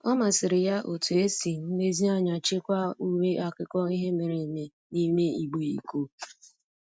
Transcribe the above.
Ọ masịrị ya etu e si nlezianya chekwaa uwe akụkọ ihe mere eme n'ime igbe iko.